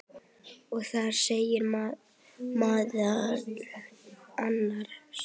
og þar segir meðal annars